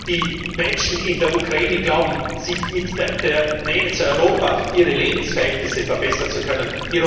Die Menschen in der Ukraine glauben, sich mit der Nähe zu Europa ihre Lebensverhältnisse verbessern zu können.